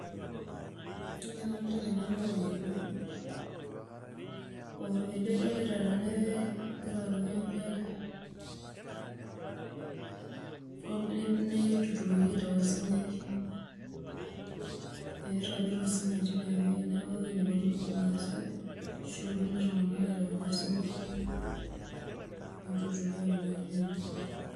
Ore entoki nadolita tene na orkeju ,orkeju adolita tenewueji ogira aruko enkare netuturoki aitau osinyai, ee iragita osunyai tinewueji neaku ewoi naponu irmaasai ashu kulie tunganak aitau osinyai neturi aikunaki nejia.